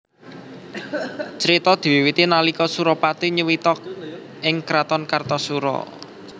Crita diwiwiti nalika Surapati nyuwita ing kraton Kartasura